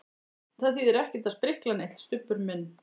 Það þýðir ekkert að sprikla neitt, Stubbur minn.